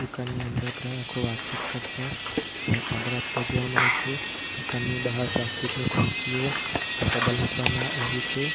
ઘરની અંદર ગ્રાહકો વાતચીત કરતા અને ઓર્ડર આપતા જોવા મળે છે તો ઘરની બહાર પ્લાસ્ટિક ની ખુરશીઓ અને ટેબલ મુકવામાં આવી છે.